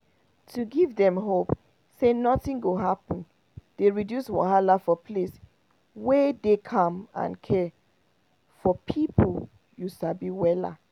to give dem hope say nothing go happen dey reduce wahala for place wey dey calm and care for person you sabi wella